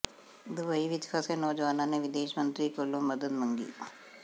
Dubai ਵਿਚ ਫਸੇ ਨੌਜਵਾਨਾਂ ਨੇ ਵਿਦੇਸ਼ ਮੰਤਰੀ ਕੋਲੋਂ ਮਦਦ ਮੰਗੀ